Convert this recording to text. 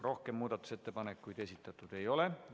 Rohkem muudatusettepanekuid esitatud ei ole.